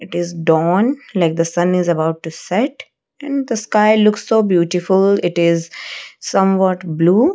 it is dawn like the sun is about to set and the sky looks so beautiful it is somewhat blue.